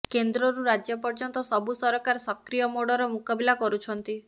କେନ୍ଦ୍ରରୁ ରାଜ୍ୟ ପର୍ଯ୍ୟନ୍ତ ସବୁ ସରକାର ସକ୍ରିୟ ମୋଡର ମୁକାବିଲା କରୁଛନ୍ତି